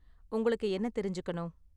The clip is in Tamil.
உங்களுக்கு என்ன தெரிஞ்சுக்கணும்?